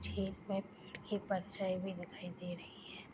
खेत में भीड़ की परछाई भी दिखाई दे रही है।